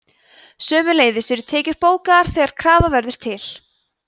sömuleiðis eru tekjur bókaðar þegar krafa verður til